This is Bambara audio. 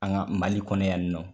An ka mali kɔnɔ yan nɔn.